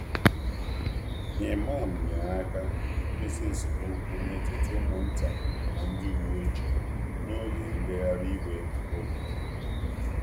Imam nyere aka idozi esemokwu n’etiti ụmụ nta na ndị uwe ojii n’oge ngagharị iwe ógbè.